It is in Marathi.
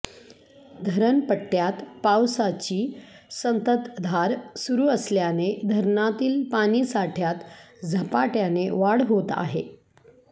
धरणपट्टय़ात पावसाची संततधार सुरू असल्याने धरणातील पाणीसाठय़ात झपाटय़ाने वाढ होत आहे